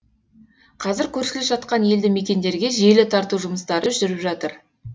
қазір көршілес жатқан елді мекендерге желі тарту жұмыстары жүріп жатыр